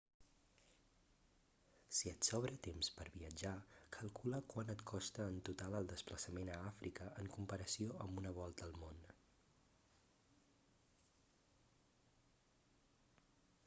si et sobra temps per viatjar calcula quant et costa en total el desplaçament a àfrica en comparació amb una volta al món